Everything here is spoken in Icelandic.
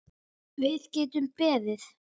Við getum beðið.